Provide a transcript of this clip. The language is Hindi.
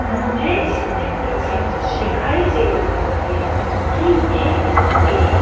मुझे इस चित्र में दिखाई दे रहा हैं कि ये एक--